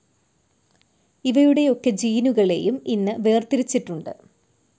ഇവയുടെയൊക്കെ ജീനുകളെയും ഇന്ന് വേർതിരിച്ചിട്ടുണ്ട്.